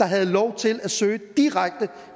havde lov til at søge direkte